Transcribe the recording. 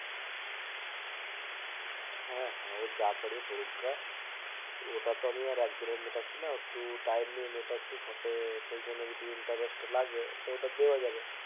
হ্যাঁ হ্যাঁ ওযা পরবে পরুকগা ওটা তো আমি একবারে মেটাছিনা ওটা time নিয়ে মেটাচ্ছি সাথে সেই জন্য যদি interest লাগে ওটা দেয়া যাবে